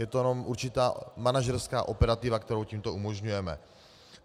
Je to jenom určitá manažerská operativa, kterou tímto umožňujeme.